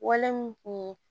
Wale mun kun ye